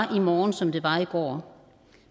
i morgen som det var i går